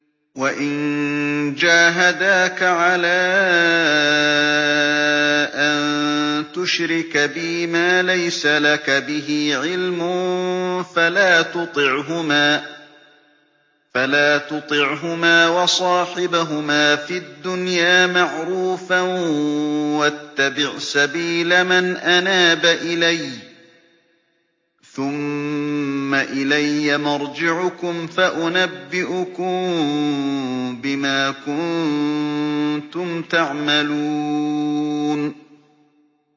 وَإِن جَاهَدَاكَ عَلَىٰ أَن تُشْرِكَ بِي مَا لَيْسَ لَكَ بِهِ عِلْمٌ فَلَا تُطِعْهُمَا ۖ وَصَاحِبْهُمَا فِي الدُّنْيَا مَعْرُوفًا ۖ وَاتَّبِعْ سَبِيلَ مَنْ أَنَابَ إِلَيَّ ۚ ثُمَّ إِلَيَّ مَرْجِعُكُمْ فَأُنَبِّئُكُم بِمَا كُنتُمْ تَعْمَلُونَ